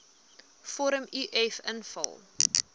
vorm uf invul